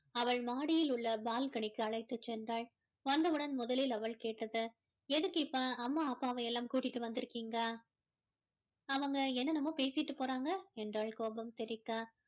அவள் மாடியில் உள்ள balcony க்கு அழைத்து சென்றால் வந்தவுடன் முதலில் அவள் கேட்டது எதுக்கு இப்போ அம்மா அப்பாவை எல்லாம் கூட்டிட்டு வந்து இருக்கீங்க அவங்க என்னென்னமோ பேசிட்டு போறாங்க என்றால் கோபம் தெறிக்க